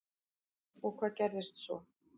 Og hvað gerðist svo?